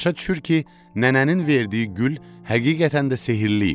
Başa düşür ki, nənənin verdiyi gül həqiqətən də sehirli imiş.